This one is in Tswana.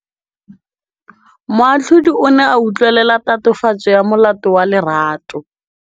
Moatlhodi o ne a utlwelela tatofatsô ya molato wa Lerato.